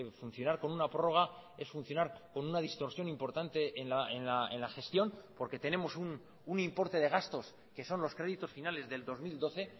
funcionar con una prórroga es funcionar con una distorsión importante en la gestión porque tenemos un importe de gastos que son los créditos finales del dos mil doce